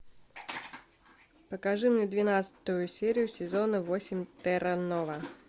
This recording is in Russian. покажи мне двенадцатую серию сезона восемь терра нова